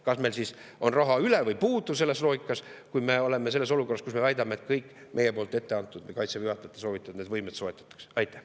Kas meil on siis selles loogikas raha üle või puudu, kui me oleme olukorras, kus me väidame, et kõik meie poolt ette antud või Kaitseväe juhatajate soovitatud võimed soetatakse?